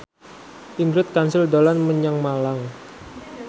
Ingrid Kansil dolan menyang Malang